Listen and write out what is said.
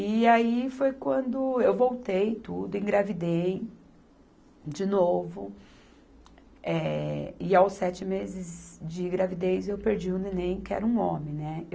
E aí foi quando eu voltei, tudo, engravidei de novo, eh, e aos sete meses de gravidez eu perdi o neném que era um homem, né.